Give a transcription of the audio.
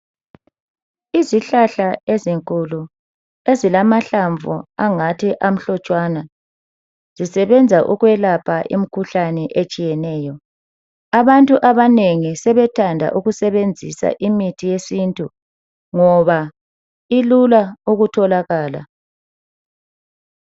Izihlahla ezinkulu ezilahlamvu angathi amhlotshana zisebenza ukwelapha imikhuhlane etshiyeneyo abantu abanengi sebethanda ukusebenzisa imithi yesintu ngoba ilula ukutholakala.